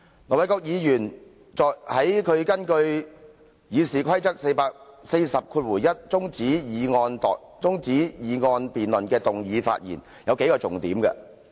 盧議員根據《議事規則》第401條動議中止待續議案時，在發言中提出了數個重點。